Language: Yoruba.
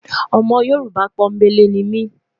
Ọmọ yorùbá pò n belé nimi